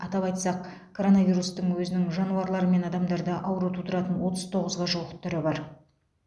атап айтсақ коронавирустың өзінің жануарлармен адамдарда ауру тудыратын отыз тоғызға жуық түрі бар